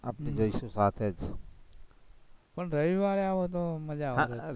જઈશું જ સાથે પણ રવિવારે આવો તો મજા આવે,